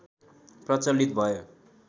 प्रचलित भयो